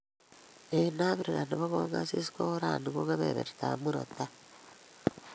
Eng Africa nebo kongasis ko orani ko kebebertab murot tai